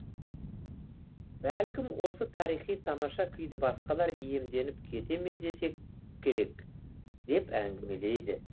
бәлкім осы тарихи тамаша күйді басқалар иемденіп кете ме десе керек деп әңгімелейді